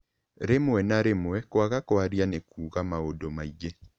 Rĩmwe na rĩmwe, kwaga kwaria nĩ kuuga maũndũ maingĩ.